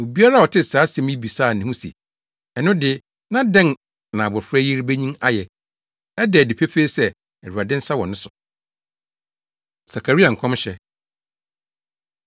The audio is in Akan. Obiara a ɔtee saa nsɛm yi bisaa ne ho se, “Ɛno de, na dɛn na abofra yi rebenyin ayɛ? Ɛda adi pefee sɛ Awurade nsa wɔ ne so.” Sakaria Nkɔmhyɛ